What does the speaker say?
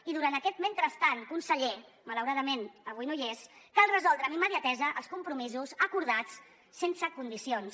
i durant aquest mentrestant conseller malauradament avui no hi és cal resoldre amb immediatesa els compromisos acordats sense condicions